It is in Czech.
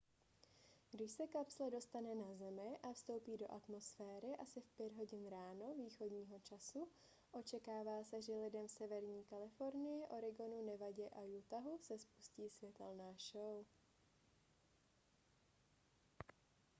když se kapsle dostane na zemi a vstoupí do atmosféry asi v 5 hodin ráno východního času očekává se že lidem v severní kalifornii oregonu nevadě a utahu se spustí světelná show